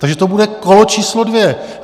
Takže to bude kolo číslo dvě.